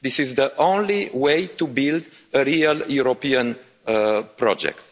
This is the only way to build a real European project.